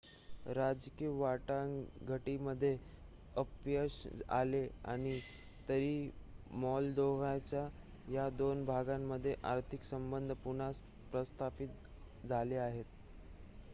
राजकीय वाटाघाटींमध्ये अपयश आले असले तरी मॉल्दोव्हाच्या या दोन भागांमध्ये आर्थिक संबंध पुन्हा प्रस्थापित झाले आहेत